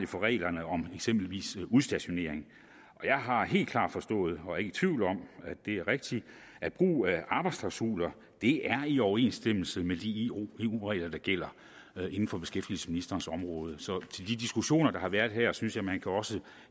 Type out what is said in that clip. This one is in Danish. for reglerne om eksempelvis udstationering og jeg har helt klart forstået og er ikke i tvivl om at det er rigtigt at brug af arbejdsklausuler er i overensstemmelse med de eu regler der gælder inden for beskæftigelsesministerens område så til de diskussioner der har været her synes jeg at man også